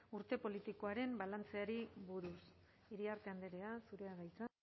urte politikoaren balantzeari buruz iriarte andrea zurea da hitza